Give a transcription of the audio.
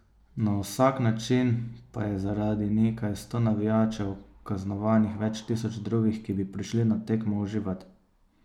Na vsak način pa je zaradi nekaj sto navijačev kaznovanih več tisoč drugih, ki bi prišli na tekmo uživat.